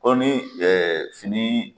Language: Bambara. Ko ni ɛɛ finii